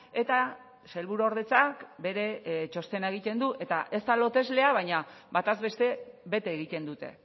eta sailburuordetzak bere txostena egiten du eta ez da loteslea baina bataz beste bete egiten dute